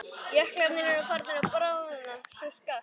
Jöklarnir eru farnir að bráðna svo skarpt.